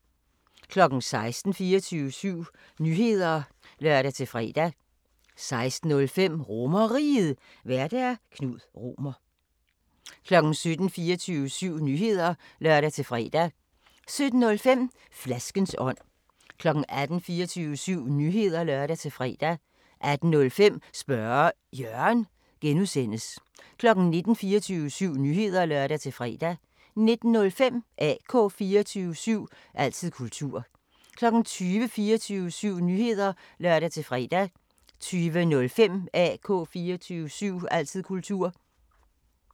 16:00: 24syv Nyheder (lør-fre) 16:05: RomerRiget, Vært: Knud Romer 17:00: 24syv Nyheder (lør-fre) 17:05: Flaskens ånd 18:00: 24syv Nyheder (lør-fre) 18:05: Spørge Jørgen (G) 19:00: 24syv Nyheder (lør-fre) 19:05: AK 24syv – altid kultur 20:00: 24syv Nyheder (lør-fre) 20:05: AK 24syv – altid kultur